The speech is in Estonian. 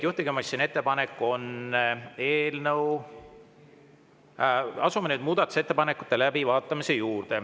Asume nüüd muudatusettepanekuid läbi vaatama.